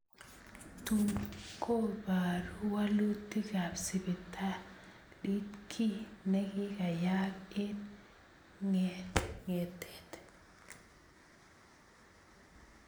Tuun kobaruu wolutikaab sibitaliit kii nekiyayaak eng ng�etet